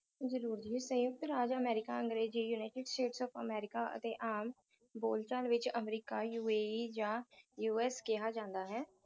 ਜਰੂਰ ਜੀ ਸਯੁੰਕਤ ਰਾਜ ਅਮੇਰਿਕਾ ਅੰਗਰੇਜ਼ੀ United State of America ਅਤੇ ਆਮ ਬੋਲਚਾਲ ਵਿਚ ਅਮਰੀਕਾ UAE ਜਾ US ਕਿਹਾ ਜਾਂਦਾ ਹੈ